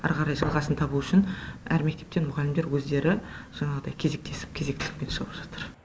әрі қарай жалғасын табу үшін әр мектептен мұғалімдер өздері жаңағыдай кезектесіп кезектесіп шығып жатыр